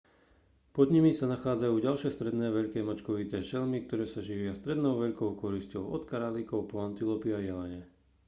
pod nimi sa nachádzajú ďalšie stredne veľké mačkovité šelmy ktoré sa živia stredne veľkou korisťou od králikov po antilopy a jelene